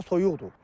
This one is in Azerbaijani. Hava soyuqdur.